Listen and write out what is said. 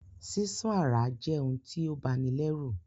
Sísán àráa je oun ti o bani lẹ́rù